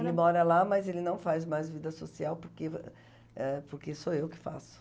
Ele mora lá, mas ele não faz mais vida social porque eh porque sou eu que faço.